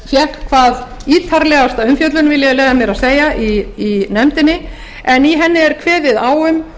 fékk hvað ítarlegasta umfjöllun vil ég leyfa mér að segja í nefndinni en í henni er kveðið á um